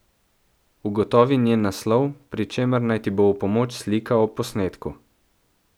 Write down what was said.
Ugotovi njen naslov, pri čemer naj ti bo v pomoč slika ob posnetku.